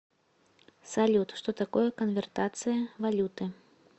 салют что такое конвертация валюты